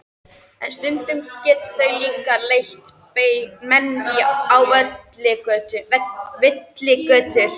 En stundum geta þau líka leitt menn á villigötur.